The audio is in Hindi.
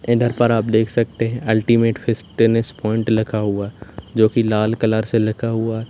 इधर पर आप देख सकते हैं अल्टीमेट फिटनेस पॉइंट लिखा हुआ जो की लाल कलर से लिखा हुआ है।